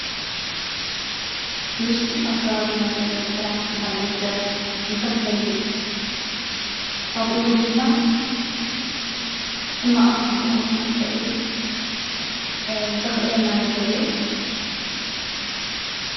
ትምህርቲ ኣብ ከበቢና ዘለው ነገራት ንክንዕዘብ ፣ንክንፈልጥ ከምእውን ድማ ሕማቅን፣ ፅቡቅን ንክንፈሊ ዘኽእለና ነገር እዩ።